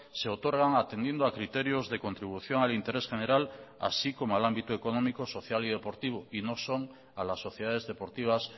se otorgan atendiendo a criterios de contribución al interés general así como al ámbito económico social y deportivo y no son a las sociedades deportivas